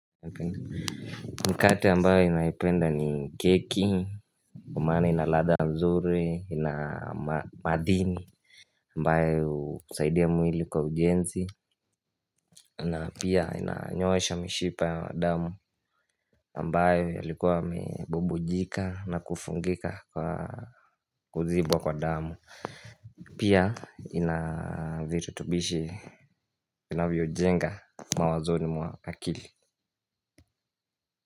Nikati ambayo ninaipenda ni keki Kwa maana ina ladha mzuri ina madhini ambayo husaidia mwili kwa ujenzi na pia inanyoosha mishipa ya damu ambayo yalikuwa yamebubujika na kufungika kwa kuzibwa kwa damu Pia inavirutubishi Kinavyo jenga mawazoni mwa akili.